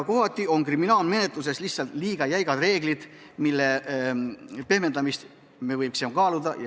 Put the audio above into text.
Kohati aga on kriminaalmenetluses lihtsalt liiga jäigad reeglid, mille pehmendamist me võiksime kaaluda.